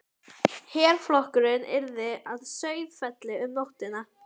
Herflokkurinn yrði að Sauðafelli um nóttina.